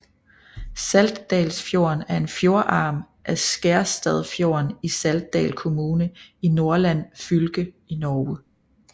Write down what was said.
Saltdalsfjorden er en fjordarm af Skjerstadfjorden i Saltdal kommune i Nordland fylke i Norge